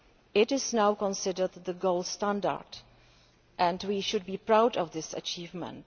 It is now considered the gold standard, and we should be proud of this achievement.